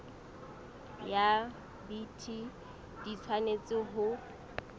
ya bt di tshwanetse ho